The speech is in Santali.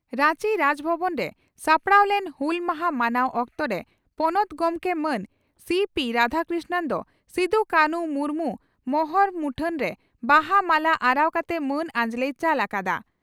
ᱨᱟᱧᱪᱤ ᱨᱟᱡᱽ ᱵᱷᱚᱵᱚᱱᱨᱮ ᱥᱟᱯᱲᱟᱣ ᱞᱮᱱ ᱦᱩᱞ ᱢᱟᱦᱟ ᱢᱟᱱᱟᱣ ᱚᱠᱛᱚᱨᱮ ᱯᱚᱱᱚᱛ ᱜᱚᱢᱠᱮ ᱢᱟᱱ ᱥᱤᱹᱯᱤᱹ ᱨᱟᱫᱷᱟᱠᱨᱤᱥᱱᱚᱱ ᱫᱚ ᱥᱤᱫᱚᱼᱠᱟᱱᱦᱩ ᱢᱩᱨᱢᱩ ᱯᱷᱚᱴᱚ ᱢᱚᱦᱚᱨ ᱨᱮ ᱵᱟᱦᱟ ᱢᱟᱞᱟ ᱟᱨᱟᱣ ᱠᱟᱛᱮ ᱢᱟᱹᱱ ᱟᱸᱡᱽᱞᱮᱭ ᱪᱟᱞ ᱟᱠᱟᱫᱼᱟ ᱾